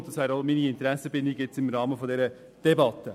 Dies auch zu meiner Interessenbindung im Rahmen dieser Debatte.